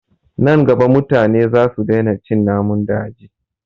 Nan gaba mutane za su daina cin namun daji